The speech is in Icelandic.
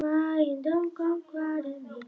Þeir fara örugglega að koma.